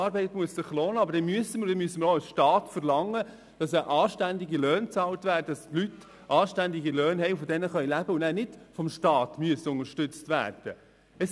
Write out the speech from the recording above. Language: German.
Aber dann müssen wir auch als Staat verlangen, dass den Leuten anständige Löhne bezahlt werden, von denen sie leben können, sodass sie eben nicht vom Staat unterstützt werden müssen.